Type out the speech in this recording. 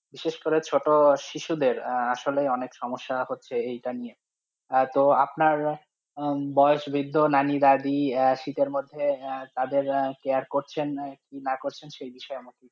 বিশেষ করে ছোটো শিশু দেড় আসলে অনেক সমস্যা হচ্ছে এই টা নিয়ে, তো আর আপনার, বয়স বৃদ্ধ নানি দাদি শীতের মধ্যে আঃ তাদের care না করছেন সেই বিষয় নিয়ে।